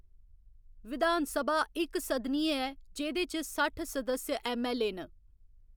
विधान सभा इकसदनीय ऐ जेह्‌‌‌दे च सट्ठ सदस्य ऐम्म.ऐल्ल.ए न।